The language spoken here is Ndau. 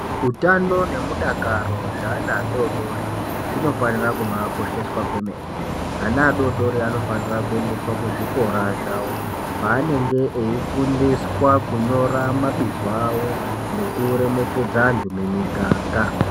Utano nemudakaro zveana adori dori zvinofanira kubakosheswa kwemene. Ana adori dori anofanira kuenda kuzvikora zvawo kwaanenge eifundiswa kunyora mabizo awo nekuremekedza antu mumiganga.